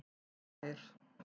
Sær